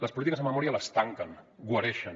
les polítiques de memòria les tanquen guareixen